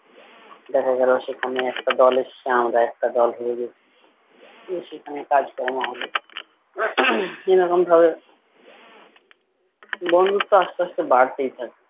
দেখা গেলো সেখানে একটা দলের এসেছে আমরা একটা দল হয়ে গেছি। উহ সেখানে কাজ কর্ম হলো এরকম ভাবে বন্ধুত্ব আস্তে আস্তে বাড়তেই থাকে।